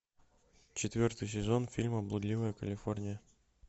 четвертый сезон фильма блудливая калифорния